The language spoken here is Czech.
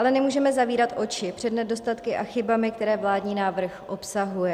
Ale nemůžeme zavírat oči před nedostatky a chybami, které vládní návrh obsahuje.